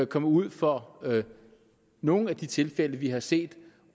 komme ud for nogle af de tilfælde vi har set